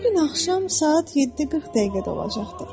Bu gün axşam saat 7:40 dəqiqədə olacaqdır.